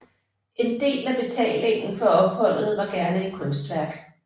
En del af betalingen for opholdet var gerne et kunstværk